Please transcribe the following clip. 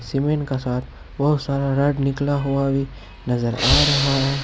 जमीन का साथ बहुत सारा रॉड निकला हुआ भी नजर आ रहा है।